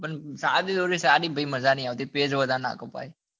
પણ સાદી દોરી સાદી માં પછી મજા નથી આવતી પેચ વધારે નાં કપાય અરે